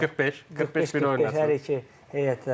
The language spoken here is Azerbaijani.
45-45, 45 bir oynasın, 45 bir oynasın hər iki heyət.